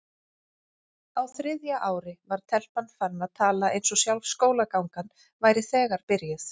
Á þriðja ári var telpan farin að tala eins og sjálf skólagangan væri þegar byrjuð.